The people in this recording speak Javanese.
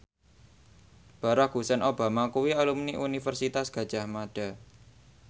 Barack Hussein Obama kuwi alumni Universitas Gadjah Mada